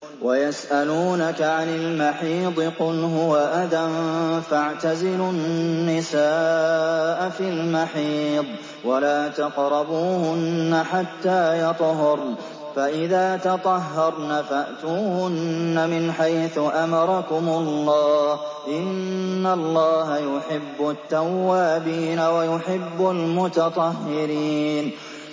وَيَسْأَلُونَكَ عَنِ الْمَحِيضِ ۖ قُلْ هُوَ أَذًى فَاعْتَزِلُوا النِّسَاءَ فِي الْمَحِيضِ ۖ وَلَا تَقْرَبُوهُنَّ حَتَّىٰ يَطْهُرْنَ ۖ فَإِذَا تَطَهَّرْنَ فَأْتُوهُنَّ مِنْ حَيْثُ أَمَرَكُمُ اللَّهُ ۚ إِنَّ اللَّهَ يُحِبُّ التَّوَّابِينَ وَيُحِبُّ الْمُتَطَهِّرِينَ